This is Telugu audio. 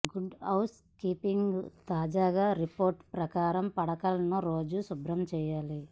గుడ్ హౌస్ కీపింగ్ తాజా రిపోర్ట్ ప్రకారం పడకలను రోజూ శుభ్రం చేయాలి